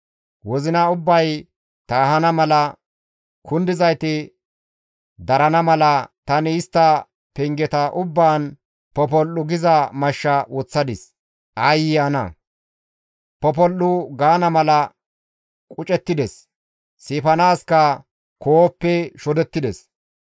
Wozina ubbay taahana mala, kundizayti darana mala, tani istta pengeta ubbaan popol7u giza mashsha woththadis. Aayye ana, popol7u gaana mala qucettides; siifanaaska koohoppe shodettides.